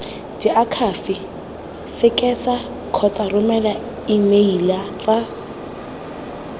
diakhaefe fekesa kgotsa romela emeilatsa